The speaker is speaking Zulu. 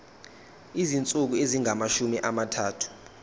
izinsuku ezingamashumi amathathu